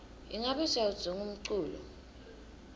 ingabe siyawudzinga umculo